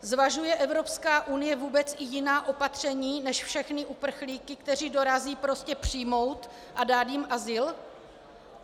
Zvažuje Evropská unie vůbec i jiná opatření než všechny uprchlíky, kteří dorazí, prostě přijmout a dát jim azyl?